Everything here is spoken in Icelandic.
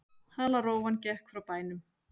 Halarófan gekk frá bænum.